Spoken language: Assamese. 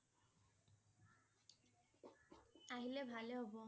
আহিলে ভালে হব